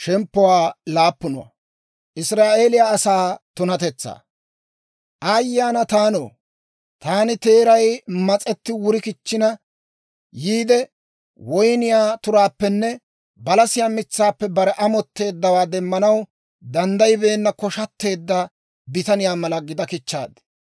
Aayye ana taanoo! Taani teeray mas'etti wuri kichchina yiide, woyniyaa turaappenne balasiyaa mitsaappe bare amotteeddawaa demmanaw danddayibeenna koshatteedda bitaniyaa mala gida kichchaad.